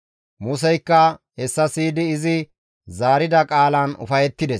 Museykka hessa siyidi izi zaarida qaalan ufayettides.